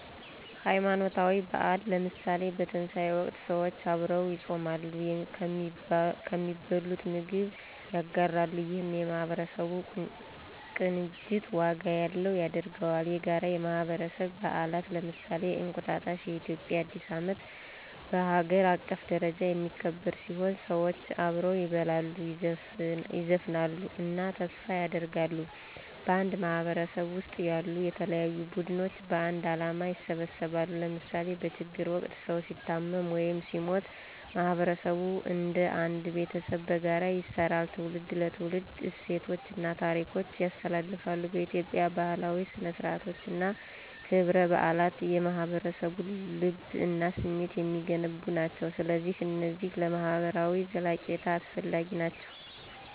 ሃይማኖታዊ በዓላት ለምሳሌ፣ በትንሣኤ ወቅት ሰዎች አብረው ይጾማሉ፣ ከሚበሉት ምግብ ያጋራሉ፣ ይህም የማህበረሰብ ቅንጅት ዋጋ ያለው ያደርገዋል። የጋራ የማህበረሰብ በዓላት ለምሳሌ፣ እንቁጣጣሽ (የኢትዮጵያ አዲስ ዓመት) በሀገር አቀፍ ደረጃ የሚከበር ሲሆን፣ ሰዎች አብረው ይበላሉ፣ ይዘፍናሉ እና ተስፋ ያደርጋሉ። በአንድ ማህበረሰብ ውስጥ ያሉ የተለያዩ ቡድኖች በአንድ ዓላማ ይሰባሰባሉ ለምሳሌ በችግር ወቅት ሰዉ ሲታመም ወይም ሲሞት ማህበረሰቡ እንደ አንድ ቤተሰብ በጋራ ይሰራል። ትውልድ ለትውልድ እሴቶችን እና ታሪኮችን ያስተላልፋል። በኢትዮጵያ፣ ባህላዊ ሥነ-ሥርዓቶች እና ክብረ በዓላት የማህበረሰቡን ልብ እና ስሜት የሚገነቡ ናቸው። ስለዚህ እነዚህ ለማህበራዊ ዘለቄታ አስፈላጊ ናቸው!